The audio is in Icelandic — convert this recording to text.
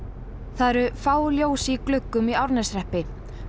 það eru fá ljós í gluggum í Árneshreppi